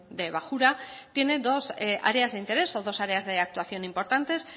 de bajura tiene dos áreas de interés o dos aéreas de actuación importantes